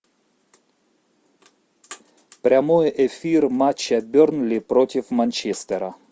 прямой эфир матча бернли против манчестера